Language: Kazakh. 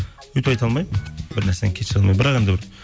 өйтіп алмаймын бір нәрсені кешіре алмаймын бірақ енді бір